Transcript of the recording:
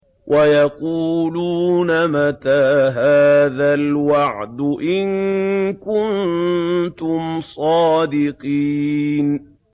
وَيَقُولُونَ مَتَىٰ هَٰذَا الْوَعْدُ إِن كُنتُمْ صَادِقِينَ